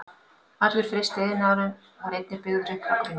Allur frystiiðnaðurinn var einnig byggður upp frá grunni.